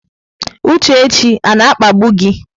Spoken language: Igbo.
Uchechi ọ na-akpagbu gị?